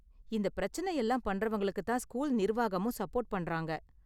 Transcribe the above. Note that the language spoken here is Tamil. இந்த பிரச்சனை எல்லாம் பண்றவங்களுக்கு தான் ஸ்கூல் நிர்வாகமும் சப்போர்ட் பண்றாங்க.